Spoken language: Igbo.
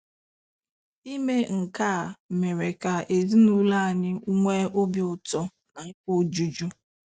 Ime nke a mere ka ezinụlọ anyị nwee obi ụtọ na afọ ojuju.